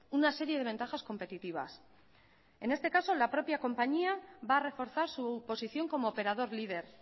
una serie de ventajas competitivas en este caso la propia compañía va a reforzar su posición como operador líder